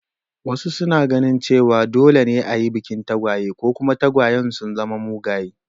Wasu suna ganin cewa dole ne a yi bikin tagwaye, ko kuma tagwayen sun zama mugaye.